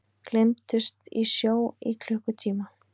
Gleymdust í sjó í klukkutíma